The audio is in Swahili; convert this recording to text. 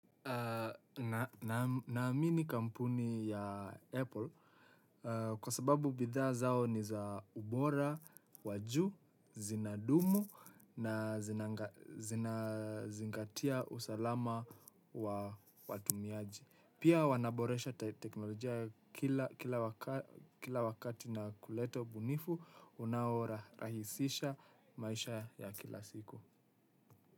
Na mini kampuni ya Apple kwa sababu bidhaa zao ni za ubora, wajuu, zinadumu na zinazingatia usalama wa watumiaji. Pia wanaboresha teknolojia kila wakati na kulete ubunifu unaorahisisha maisha ya kila siku.